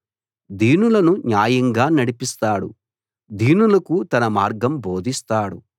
దీనులను న్యాయంగా నడిపిస్తాడు దీనులకు తన మార్గం బోధిస్తాడు